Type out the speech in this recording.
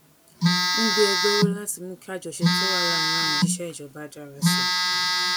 ń gbé ẹgbẹ ró láti mú kí àjọṣe tó wà láàárín àwọn òṣìṣẹ ìjọba dára sí i